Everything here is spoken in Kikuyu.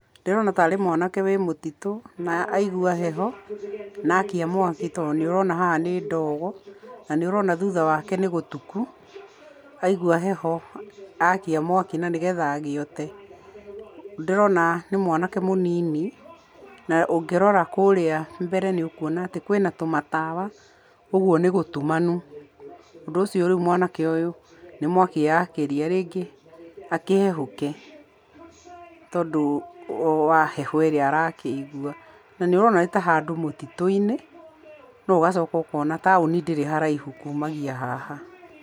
Ndĩrona tarĩ mwanake wĩ mũtitũ na aigua heho, na akia mwaki to nĩ ũrona haha nĩ ndogo, na nĩ ũrona thutha wake nĩ gũtuku, aigua heho akia mwaki na nĩgetha agĩote. Ndĩrona nĩ mwanake mũnini na ũngĩrora kũrĩa mbere nĩ ũkũona atĩ kwina tũmatawa kwoguo nĩ gũtumanu. Ũndũ ũcio rĩu mwanake ũyũ nĩ mwaki eyakĩria, rĩngĩ, akĩhehũke tondũ wa heho ĩrĩ arakĩigua. Na nĩũrona nĩ ta handũ mũtitũ-inĩ no ũgacoka ũkona taũni ndĩrĩ haraihu kuumagia haha.